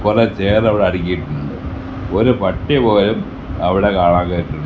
കുറേ ചെയർ അവിടെ അടക്കിയിട്ടിട്ടുണ്ട് ഒരു പട്ടി പോലും അവിടെ കാണാൻ കേറീട്ടില്ല.